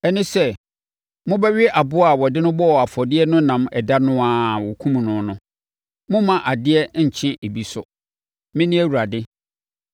ɛne sɛ, mobɛwe aboa a wɔde no bɔɔ afɔdeɛ no nam ɛda no ara a wɔkumm no no. Mommma adeɛ nnkye ebi so. Mene Awurade.